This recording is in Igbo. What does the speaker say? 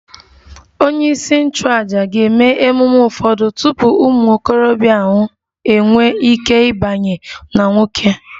Onyeisi nchụàjà ga-eme ememe ụfọdụ tupu ụmụ okorobịa ahụ enwee ike ịbanye n'nwoke